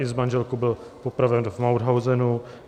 I s manželkou byl popraven v Mauthausenu.